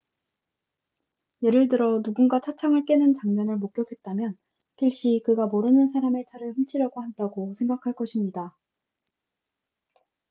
예를 들어 누군가 차창을 깨는 장면을 목격했다면 필시 그가 모르는 사람의 차를 훔치려고 한다고 생각할 것입니다